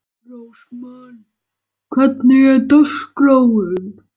Rósmann, hvernig er dagskráin?